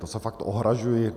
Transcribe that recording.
To se fakt ohrazuji.